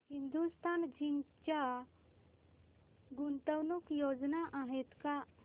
Hindustan zinc च्या गुंतवणूक योजना आहेत का